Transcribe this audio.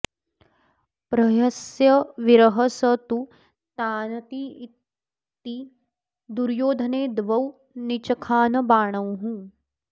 प्रहस्य वीरः स तु तानतीत्य दुर्योधने द्वौ निचखान बाणौ